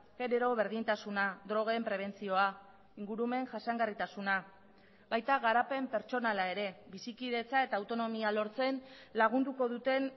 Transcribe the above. genero berdintasuna drogen prebentzioa ingurumen jasangarritasuna baita garapen pertsonala ere bizikidetza eta autonomia lortzen lagunduko duten